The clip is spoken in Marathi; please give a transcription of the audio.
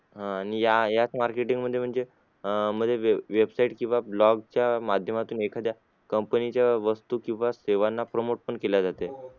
आह आणि या याच marketing मध्ये म्हणजे अं web website किंवा blog माध्यमातून एखाद्या company च्या वस्तू किंवा सेवांना promote पण केल्या जाते.